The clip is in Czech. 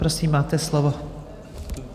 Prosím, máte slovo.